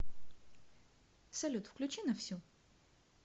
салют включи на всю